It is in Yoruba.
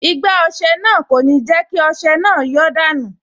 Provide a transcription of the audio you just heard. Igbá ọsẹ náà kò ní jẹ́ kí ọsẹ náà yọ́ dànù